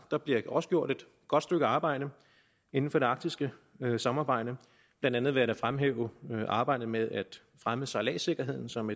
der bliver også gjort et godt stykke arbejde inden for det arktiske samarbejde blandt andet ved at fremhæve arbejdet med at fremme sejladssikkerheden som